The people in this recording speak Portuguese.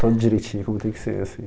Todo direitinho, como tem que ser assim